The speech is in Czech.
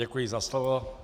Děkuji za slovo.